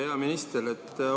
Hea minister!